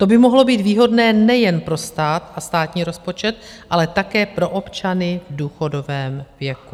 To by mohlo být výhodné nejen pro stát a státní rozpočet, ale také pro občany v důchodovém věku.